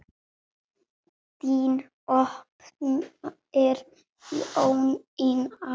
Þín dóttir Jónína.